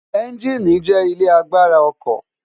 ẹ́ńgíìnì jẹ́ ilé agbára ọkọ̀